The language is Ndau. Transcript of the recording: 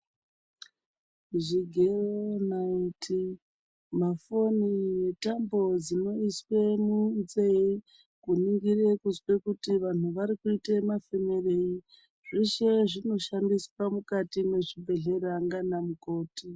Zvigero naiti mafoni netambo dzinoiswe munzee kuningire kuzwe kuti vantu varikuita mafemerei zveshe zvinoshandiswa mukati mwezvibhedhlera ndiana mukoti.